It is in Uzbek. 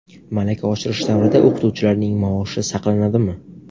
Malaka oshirish davrida o‘qituvchilarning maoshi saqlanadimi?.